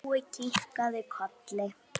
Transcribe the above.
Jói kinkaði kolli.